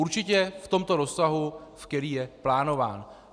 Určitě v tomto rozsahu, v kterém je plánován.